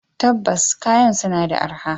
Tabbas kayan suna da arha.